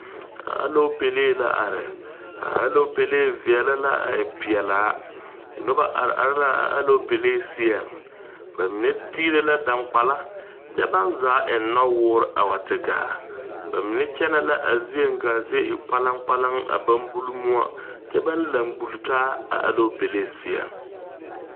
Aloopalee la are a aloopalee veɛlɛ la a e pelaa noba are are la a aloopalee seɛŋ ba mine tiire la daŋgbala kyɛ baa zaa eŋ nɔwoore a wa te gaa ba mine kyɛnɛ la a zieŋ ka a zie e kpalaŋ kpalaŋ a ba buli moɔ kyɛ ba laŋ pulle taa a aloopalee seɛ.